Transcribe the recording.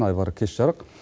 айбар кеш жарық